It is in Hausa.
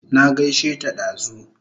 Na gaishe ta dazu